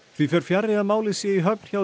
því fer fjarri að málið sé í höfn hjá